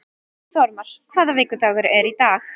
Þórmar, hvaða vikudagur er í dag?